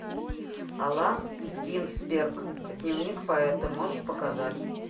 аллен гинзберг дневник поэта можешь показать